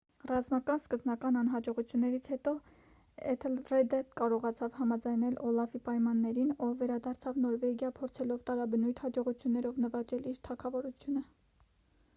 ռազմական սկզբնական անհաջողություններից հետո էթելրեդը կարողացավ համաձայնել օլաֆի պայմաններին ով վերադարձավ նորվեգիա փորձելով տարաբնույթ հաջողություններով նվաճել իր թագավորությունը